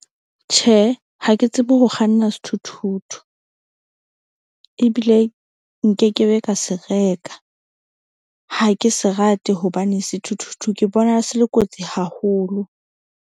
Tjhe, ha ke tsebe ho kganna sethuthuthu. Ebile nkekebe ka se reka ha ke se rate hobane sethuthuthu ke bona se le kotsi haholo.